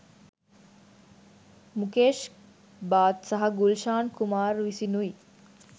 මුකේෂ් බාත් සහ ගුල්ෂාන් කුමාර් විසිනුයි.